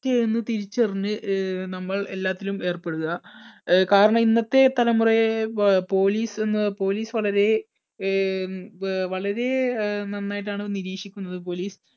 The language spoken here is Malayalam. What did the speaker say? റ്റു എന്ന് തിരിച്ചറിഞ്ഞ് അഹ് നമ്മല്‍ എല്ലാത്തിലും ഏർപ്പെടുക. അഹ് കാരണം ഇന്നത്തെ തലമുറയെ പാ police എന്ന് police വളരെ അഹ് വ്‌ വളരെ നന്നായിട്ടാണ് നിരീക്ഷിക്കുന്നത് police